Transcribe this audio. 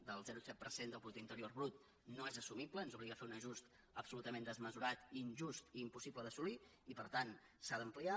el zero coma set per cent del producte interior brut no és assumible ens obliga a fer un ajust absolutament desmesurat i injust i impossible d’assolir i per tant s’ha d’ampliar